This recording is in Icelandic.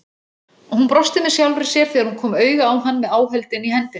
Hún brosti með sjálfri sér þegar hún kom auga á hann með áhöldin í hendinni.